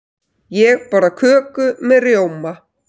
Ég borða köku með rjóma.